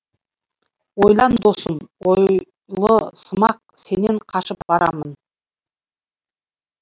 ойлан досым ойлысымақ сенен қашып барамын